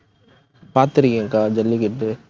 பார்த்திருக்கேன் அக்கா, ஜல்லிக்கட்டு.